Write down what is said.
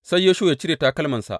Sai Yoshuwa ya cire takalmansa.